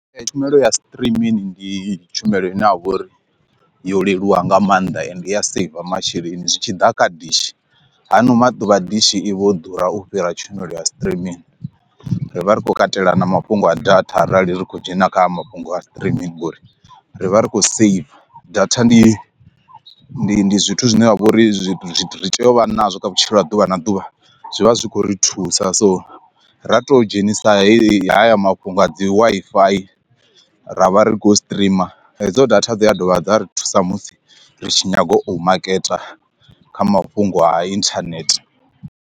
Tshumelo ya streaming ndi tshumelo ine ha vha uri yo leluwa nga maanḓa ende i ya saver masheleni zwi tshi ḓa kha dishi, hano maḓuvha dishi i vho ḓura u fhira tshumelo ya streaming ri vha ri khou katela na mafhungo a data arali ri khou dzhena kha mafhungo a streaming ngori ri vha ri khou saver. Data ndi ndi ndi zwithu zwine ha vha uri ri tea uvha nazwo kha vhutshilo ha ḓuvha na ḓuvha zwivha zwi khou ri thusa so ra to dzhenisa heyi haya mafhungo a dzi Wi-Fi ra vha ri khou streamer hedzo data dza dovha dza ri thusa musi ri tshi nyaga u maketa kha mafhungo a internet.